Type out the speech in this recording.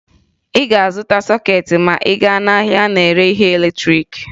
Ị ga-azụta sọkeetị ma ị gaa n'ahịa na-ere ihe latrịịkị